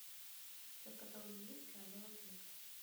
у тебя в каталоге есть королева крика